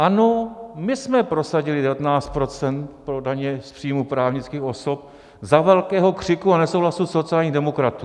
Ano, my jsme prosadili 19 % pro daně z příjmů právnických osob za velkého křiku a nesouhlasu sociálních demokratů.